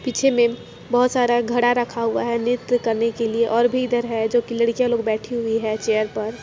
पीछे में बहुत सारा घड़ा रखा हुआ हैं नृत करने के लिए और भी इधर हैं जो की लड़कियां लोग बैठी है चेयर पर चेयर पर--